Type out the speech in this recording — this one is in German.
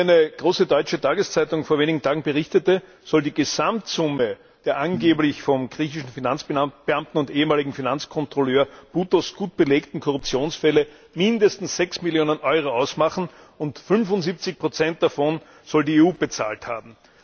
Wie eine große deutsche Tageszeitung vor wenigen Tagen berichtete, soll die Gesamtsumme der angeblich vom griechischen Finanzbeamten und ehemaligen Finanzkontrolleur Boutos gut belegten Korruptionsfälle mindestens 6 Millionen Euro ausmachen, und 75 davon soll die EU bezahlt haben.